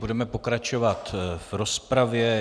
Budeme pokračovat v rozpravě.